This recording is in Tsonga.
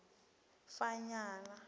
fanyana